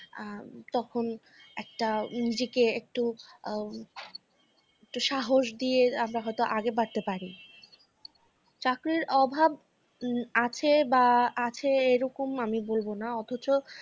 আ তখন একটা নিজেকে একটু আম একটু সাহস দিয়ে আমরা হয়তো আগে বাড়তে পারি। চাকরির অভাব আছে বা আছে এরকম আমি বলবনা অথচ